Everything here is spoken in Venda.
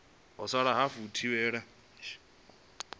ha sala hafu u thivhela